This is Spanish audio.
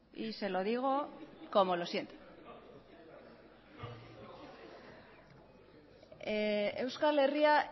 y se lo digo como lo siento euskal herria